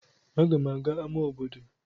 Aga m aga n'amá obodo.